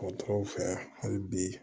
Dɔgɔtɔrɔw fɛ yan hali bi